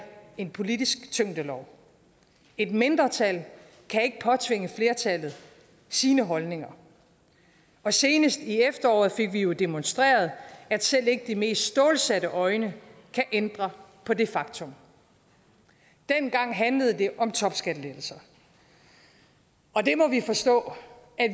en politisk tyngdelov et mindretal kan ikke påtvinge flertallet sine holdninger og senest her i efteråret fik vi jo demonstreret at selv ikke de mest stålsatte øjne kan ændre på det faktum dengang handlede det om topskattelettelser og det må vi forstå